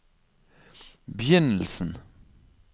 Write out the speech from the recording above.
begynnelsen